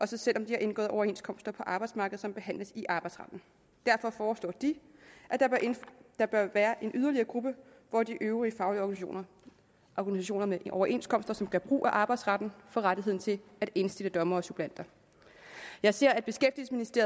selv om de har indgået overenskomster på arbejdsmarkedet som behandles i arbejdsretten derfor foreslår de at der bør være en yderligere gruppe hvor de øvrige faglige organisationer med overenskomster som gør brug af arbejdsretten får rettighed til at indstille dommere og suppleanter jeg ser